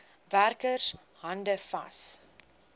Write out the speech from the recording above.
werker hande vat